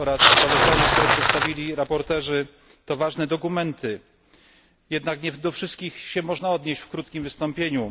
Sprawozdania, które przedstawili sprawozdawcy, to ważne dokumenty, jednak nie do wszystkich można się odnieść w krótkim wystąpieniu.